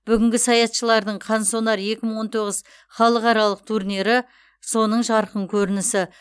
бүгінгі саятшылардың қансонар екі мың он тоғыз халықаралық турнирі соның жарқын көрінісі